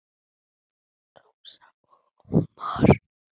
Rósa og Ómar.